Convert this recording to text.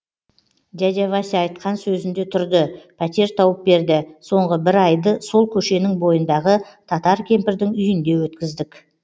дядя вася айтқан сөзінде тұрды пәтер тауып берді соңғы бір айды сол көшенің бойындағы татар кемпірдің үйінде өткіздік